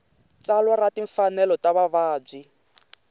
tsalwa ra timfanelo ta vavabyi